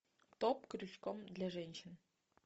топ крючком для женщин